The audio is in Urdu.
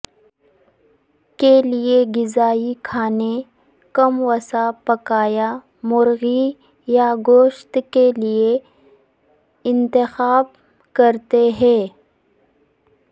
کے لئے غذائی کھانے کم وسا پکایا مرغی یا گوشت کے لئے انتخاب کرتے ہیں